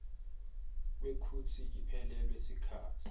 kwekutsi iphelelwe sikhatsi